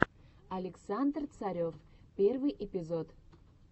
александр царев первый эпизод